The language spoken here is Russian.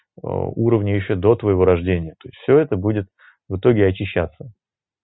уровни ещё до твоего рождения и все это будет в итоге очищаться